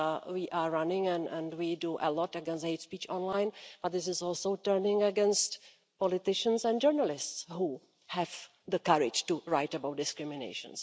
we are running and we do a lot against hate-speech online but this is also turning against politicians and journalists who have the courage to write about discrimination.